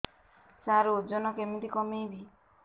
ସାର ଓଜନ କେମିତି କମେଇବି